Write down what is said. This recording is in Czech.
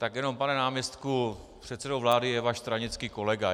Tak jenom, pane náměstku, předsedou vlády je váš stranický kolega.